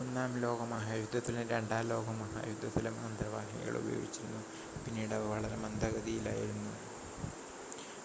ഒന്നാം ലോകമഹായുദ്ധത്തിലും രണ്ടാം ലോക മഹായുദ്ധത്തിലും അന്തർവാഹിനികൾ ഉപയോഗിച്ചിരുന്നു പിന്നീട് അവ വളരെ മന്ദഗതിയിലായിരുന്നു